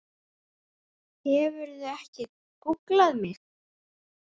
Hefurðu ekki gúgglað mig?!